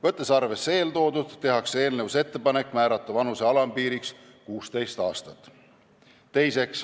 Võttes arvesse eeltoodut, tehakse eelnõus ettepanek määrata vanuse alampiiriks 16 aastat.